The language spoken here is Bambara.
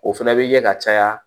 O fɛnɛ bɛ ye ka caya